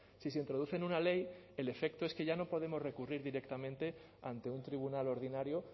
si se introduce en una ley el efecto es que ya no podemos recurrir directamente ante un tribunal ordinario